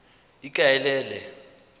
ikaelele